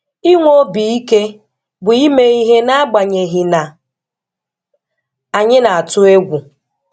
Inwe obi Ike bụ ime ihe n'agbanyeghị na anyị na-atụ egwu.